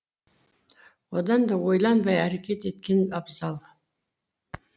одан да ойланбай әрекет еткен абзал